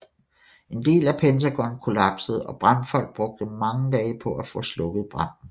En del af Pentagon kollapsede og brandfolk brugte mange dage på at få slukket branden